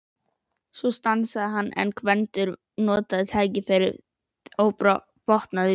Svo stansaði hann en Gvendur notaði tækifærið og botnaði vísuna: